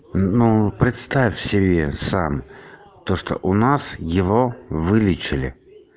ну представь себе сам то что у нас его вылечили